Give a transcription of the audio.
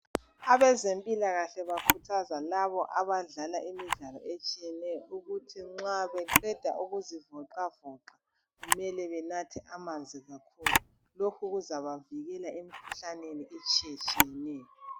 abezempilakahle bakhuthaza labo abadlala imidlalo etshiyeneyo ukuthi nxa beqeda ukuzivoxavoxa kumele benathe amanzi kakhulu lokhu kuzabavikela emikhuhlaneni etshiyetshiyeneyo